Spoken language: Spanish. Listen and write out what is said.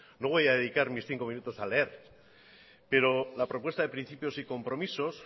no voy a dedicar mis cinco minutos a leer pero la propuesta de principios y compromisos